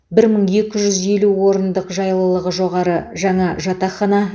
бір мың екі жүз елу орындық жайлылығы жоғары жаңа жатақхана